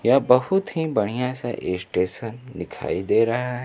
यह बहुत ही बढ़िया सा स्टेशन दिखाई दे रहा है।